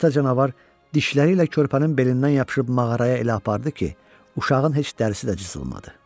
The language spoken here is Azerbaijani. Ata canavar dişləri ilə körpənin belindən yapışıb mağaraya elə apardı ki, uşağın heç dərisi də cızılmadı.